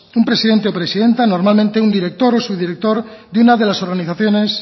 un presidente o presidenta normalmente un director o subdirector de una de las organizaciones